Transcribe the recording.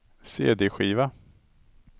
cd-skiva